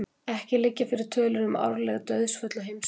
Ekki liggja fyrir tölur um árleg dauðsföll á heimsvísu.